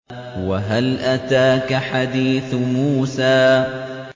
وَهَلْ أَتَاكَ حَدِيثُ مُوسَىٰ